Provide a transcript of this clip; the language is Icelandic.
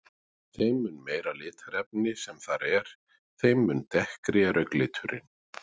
Þeim mun meira litarefni sem þar er, þeim mun dekkri er augnliturinn.